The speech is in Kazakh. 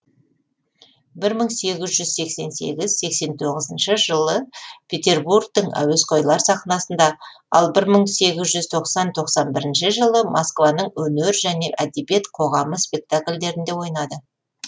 бір мың сегіз жүз сексен сегіз сексен тоғызыншы жылы петербургтің әуесқойлар сахнасында ал бір мың сегіз жүз тоқсан тоқсан бірінші жылы москваның өнер және әдебиет қоғамы спектакльдерінде ойнады